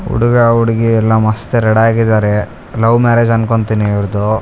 ಹುಡುಗ ಹುಡುಗಿ ಎಲ್ಲ ಮಸ್ತ್ ರೆಡಿ ಆಗಿದ್ದಾರೆ ಲವ್ ಮ್ಯಾರೇಜ್ ಅನ್ಕೊಂತೀನಿ ಇವ್ರ್ದ್.